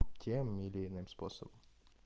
тем или иным способом